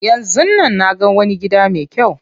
Yanzun nan naga wani gida me kyau.